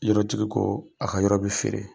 Yɔrɔtigi ko a ka yɔrɔ bɛ feere.